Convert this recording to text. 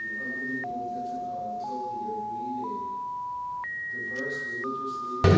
İnanılmaz və biz müxtəlif dini liderlərə inanırıq.